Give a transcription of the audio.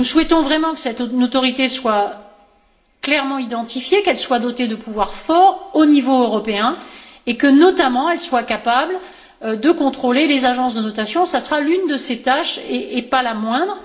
Nous souhaitons vraiment que cette autorité soit clairement identifiée, qu'elle soit dotée de pouvoirs forts au niveau européen, et que, notamment, elle soit capable de contrôler les agences de notation. Ce sera l'une de ses tâches, et pas la moindre.